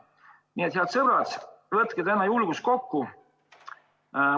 Nii et, head sõbrad, võtke täna julgus kokku!